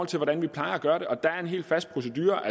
til hvordan vi plejer at gøre det og der er en helt fast procedure